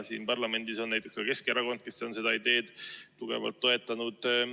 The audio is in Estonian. Siin parlamendis on näiteks Keskerakond seda ideed tugevalt toetanud.